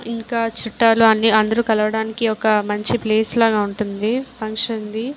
ఇంకా చుట్టాలు అందరూ కలవటానికి మంచి ప్లేస్ లాగా ఉంటుంది ఫంక్షన్ ది.